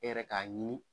E yɛrɛ k'a ɲini